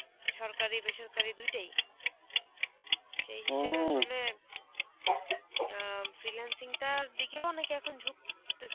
সরকারি, বেসরকারি দুইটাই. সেই হিসাবে আসলে caughing অ্যাঁ freelancing টার দিকেও অনেকে এখন ঝুঁকতেছে.